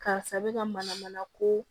Karisa bɛ ka mana mana ko